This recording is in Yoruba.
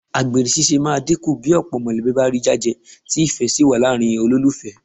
Àgbèrè ṣíṣe máa dínkù bí ọ̀pọ̀ mọ̀lẹ́bí bá rí jájẹ tí ìfẹ́ sì wà láàrin olólùfẹ́